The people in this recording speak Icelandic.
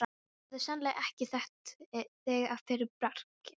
Ég hefði sennilega ekki þekkt þig að fyrra bragði.